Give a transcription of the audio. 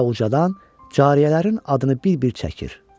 Və ucadan cariyələrin adını bir-bir çəkir.